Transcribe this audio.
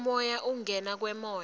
umoya kungena kwemoya